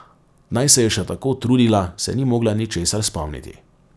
Naj se je še tako trudila, se ni mogla ničesar spomniti.